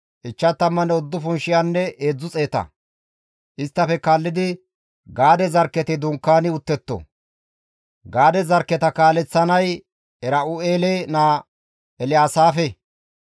Isttafe kaallidi Gaade zarkketi dunkaani uttetto; Gaade zarkketa kaaleththanay Era7u7eele naa Elyaasaafe.